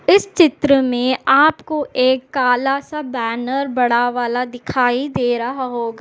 इस चित्र मे आपको एक काला सा बैनर बड़ा वाला दिखाई दे रहा होगा।